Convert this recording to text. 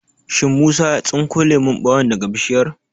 Shin Musa ya tsinko lemon ɓawon daga Bishiyar?